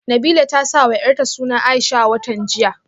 Nabilah ta sawa yarta suna Aisha a watan jiya